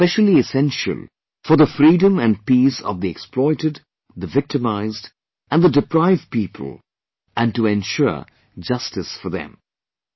This is specially essential for the freedom and peace of the exploited, victimised and deprived people and to ensure justice for them